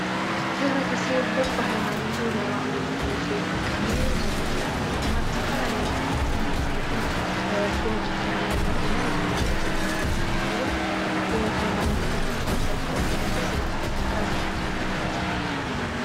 ኅብሪ ተሰብበሂይማኖቱ ናይ ዋዕሉ መግለጺ ጥቀም ዩ ዞም መግለጽታት ድማ ብስተፈላለይ መጻሓፍትን መጺሔትን ክወፁ እንተለዉ ንርኢና ዝኑርዮ ዘለና መጽሓፍውን ብሃይማኖት እምነት ተኸተልተወርተደኹስ ዝለዕለ ረብኃ ዘለዎ መጽሓፍ እዩ።